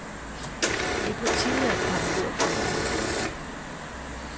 Det er på tide at komme ud af fjerene.